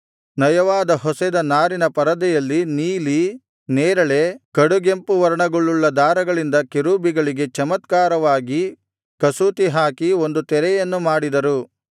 ನಯವಾಗಿ ಹೊಸೆದ ನಾರಿನ ಪರದೆಯಲ್ಲಿ ನೀಲಿ ನೇರಳೆ ಕಡುಗೆಂಪು ವರ್ಣಗಳುಳ್ಳ ದಾರಗಳಿಂದ ಕೆರೂಬಿಗಳಿಗೆ ಚಮತ್ಕಾರವಾಗಿ ಕಸೂತಿಹಾಕಿ ಒಂದು ತೆರೆಯನ್ನು ಮಾಡಿದರು